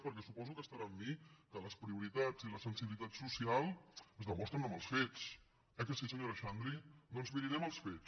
perquè suposo que estarà amb mi que les prioritats i la sensibilitat social es demostren amb els fets eh que sí senyora xandri doncs miri anem als fets